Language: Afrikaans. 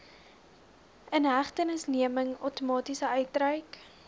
inhegtenisneming outomaties uitgereik